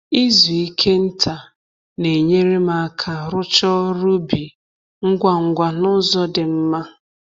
Izu ike nta na-enyere m aka rụchaa ọrụ ubi ngwa ngwa n'uzọ di mma